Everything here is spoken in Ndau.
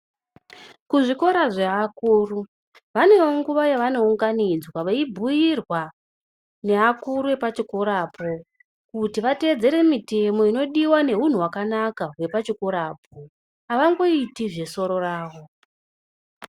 Kuzvikora zveakuru vanenguwa yavonunganodzwa veyibhuyirwa nevakuru wepachikora po kuti votevedzere mitemo inodiwa neunhu hwakanaka wepachikora po havangoiti zvesoro ravo.